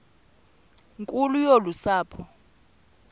nkulu yolu sapho